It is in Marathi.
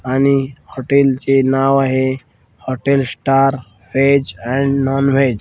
आणि हॉटेल चे नाव आहे hotel star veg and non veg .